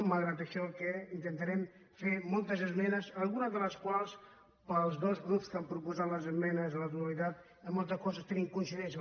malgrat això intentarem fer moltes esmenes en algunes de les quals amb els dos grups que han proposat les esmenes a la totalitat en moltes coses tenim coincidències